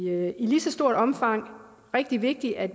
er i lige så stort omfang rigtig vigtigt at